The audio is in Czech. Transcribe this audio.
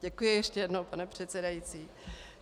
Děkuji ještě jednou, pane předsedající.